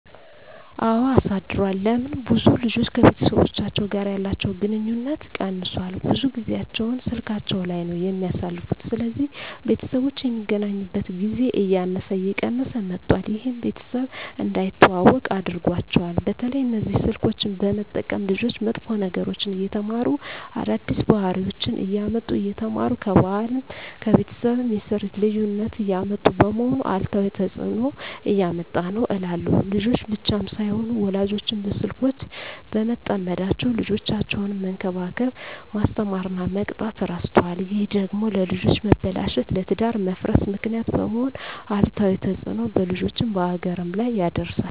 አወ አሳድሯል ለምን ብዙ ልጆች ከቤተሰቦቻቸው ጋር ያለቸዉ ግንኙነት ቀነሷል ብዙ ጊያቸዉን ስላካቸዉ ላይ ነዉ የሚያሳልፉት ስለዚህ ቤተሰቦች የሚገናኙበት ጊዜ እያነሰ እየቀነሰ መጧት ይሄም ቤተሰብ እንዳይተዋወቁ አድርጓቸዋል። በተለይ እነዚህ ስልኮችን በመጠቀም ልጆች መጥፎ ነገሮችን እየተማሩ አዳዲስ ባህሪወችነሰ እያመጡ እየተማሩ ከባህልም ከቤተሰብም የስርት ልዩነት እያመጡ በመሆኑ አሉታዊ ተጽእኖ እያመጣ ነዉ እላለሁ። ልጆች ብቻም ሳይሆኑ ወላጆችም በስልኮች በመጠመዳቸዉ ልጆቻቸዉነሰ መንከባከብ፣ መስተማር እና መቅጣት እረስተዋል ይሄ ደግሞ ለልጆች መበላሸት ለትዳር መፍረስ ምክንያት በመሄን አሉታዊ ተጽእኖ በልጆችም በሀገርም ላይ ያደርሳል።